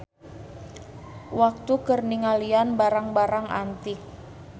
Waktu keur ningalian barang-barang antik.